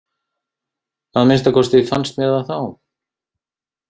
Að minnsta kosti fannst mér það þá.